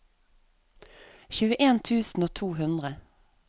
tjueen tusen og to hundre